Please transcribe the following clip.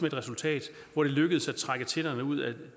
et resultat hvor det lykkedes at trække tænderne ud af